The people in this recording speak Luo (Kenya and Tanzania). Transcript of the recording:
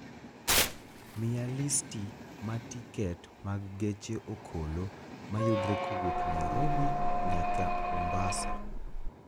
miya listi ma tiket mag geche okolo mayudre kowuok nairobi nyaka mombasa